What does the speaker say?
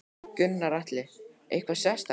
Gunnar Atli: Eitthvað sérstakt?